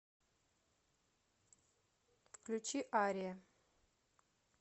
включи ария